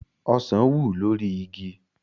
Ọsàn wù lórí igi